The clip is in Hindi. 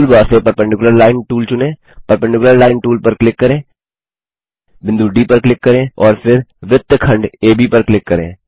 टूल बार से परपेंडिकुलर लाइन टूल चुनें परपेंडिकुलर लाइन टूल पर क्लिक करें बिंदु डी पर क्लिक करें और फिर वृत्तखंड एबी पर क्लिक करें